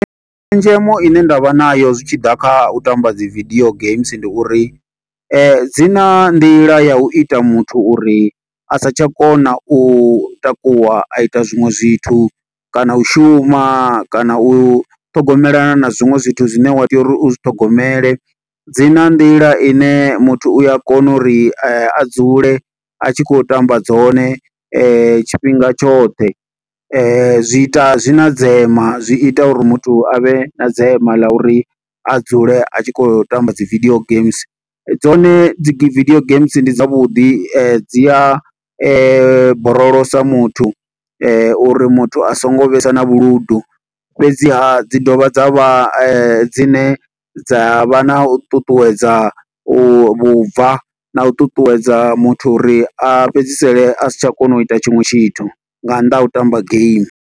Tshenzhemo ine nda vha nayo zwi tshi ḓa kha u tamba dzi video games ndi uri, dzi na nḓila ya u ita muthu uri a sa tsha kona u takuwa, a ita zwiṅwe zwithu. Kana u shuma, kana u ṱhogomelana na zwiṅwe zwithu zwine wa tea uri u zwi ṱhogomele. Dzina nḓila ine muthu u a kona uri a dzule a tshi khou tamba dzone, tshifhinga tshoṱhe. Zwi ita, zwi na dzema, zwi ita uri muthu a vhe na dzema ḽa uri, a dzule a tshi khou tamba dzi video games. Dzone dzi video games ndi dza vhuḓi dzi a borolosa muthu, uri muthu a songo vhesa na vhuludu. Fhedziha dzi dovha dza vha dzine dza vha na u ṱuṱuwedza u vhubva na, u ṱuṱuwedza muthu uri a fhedzisele a si tsha kona u ita tshiṅwe tshithu, nga nnḓa ha u tamba game.